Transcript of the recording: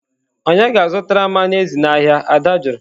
"Ònye ga-azụtara m anụ ezi n'ahịa?" Ada jụrụ